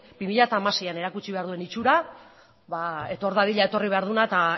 bi mila hamaseian erakutsi behar duen itxura ba etor dadila etorri behar duena eta